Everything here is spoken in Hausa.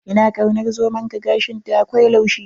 Ina kaunar zomonka, gashinta akwai laushi.